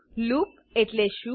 loop loop એટલે શું